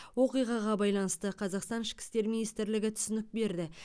оқиғаға байланысты қазақстан ішкі істер министрлігі түсінік берді